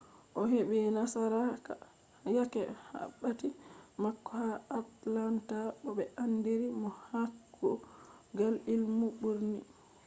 o'hebi nasarako yake wakkati mako ha atlanta bo be anditiri mo ha kugal ilmu birni